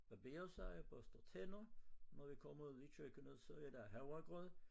Barberer sig børster tænder når vi kommer ud i køkkenet så er der havregrød